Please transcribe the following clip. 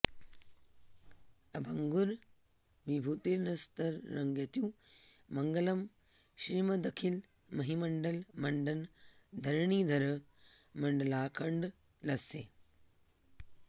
अभङ्गुर विभूतिर्नस्तरङ्गयतु मङ्गलम् श्रिमदखिल महीमण्डल मण्डन धरणिधर मण्डलाखण्डलस्य